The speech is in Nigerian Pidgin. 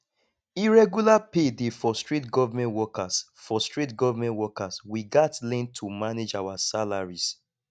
irregular pay dey frustrate government workers frustrate government workers we gats learn to manage our salaries